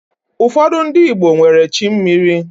Ụfọdị ndi Igbo nwere chi mmiri